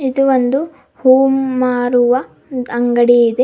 ಇದು ಒಂದು ಹೂ ಮಾರುವ ಅಂಗಡಿ ಇದೆ.